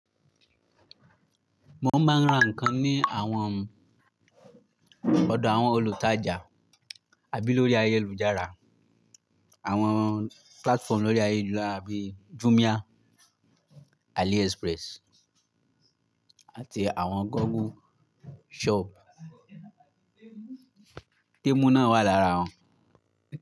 Mo máa ń ra nǹkan ní àwọn ọdọ̀ àwọn olùtajà àbí lórí ayélujára. Àwọn platform lórí ayélujára bíi Jumia, AliExpress àti àwọn Google Shop. Temu náà wà lára wọn.